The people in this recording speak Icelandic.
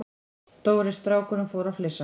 Stóri strákurinn fór að flissa.